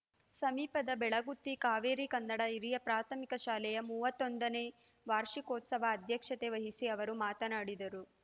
ಸಮೀಪದ ಬೆಳಗುತ್ತಿ ಕಾವೇರಿ ಕನ್ನಡ ಹಿರಿಯ ಪ್ರಾಥಮಿಕ ಶಾಲೆಯ ಮೂವತ್ತೊಂದನೇ ವಾರ್ಷಿಕೋತ್ಸವದ ಅಧ್ಯಕ್ಷತೆ ವಹಿಸಿ ಅವರು ಮಾತನಾಡಿದರು